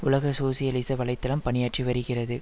உலக சோசியலிச வலை தளம் பணியாற்றி வருகிறது